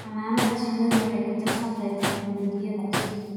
Xannaanada shinnidu waxay ku tiirsan tahay tignoolajiyada cusub.